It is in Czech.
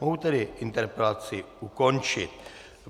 Mohu tedy interpelaci ukončit.